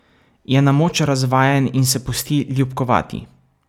Je na moč razvajen in se pusti ljubkovati.